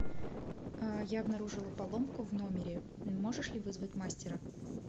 я обнаружила поломку в номере можешь ли вызвать мастера